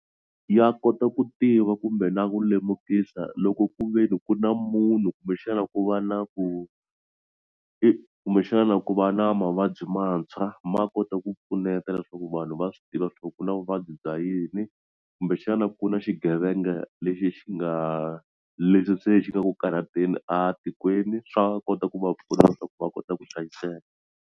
Ya kota ku tiva kumbe na ku lemukisa loko ku ve ni ku na munhu kumbexana ku va na ku i kumbexana ku va na mavabyi mantshwa ma kota ku pfuneta leswo ku vanhu va swi tiva swa ku ku na vuvabyi bya yini kumbexana ku na xigevenga lexi xi nga leswi se xi nga ku karhateni a tikweni swa kota ku va pfuna leswaku va kota ku hlayiseka.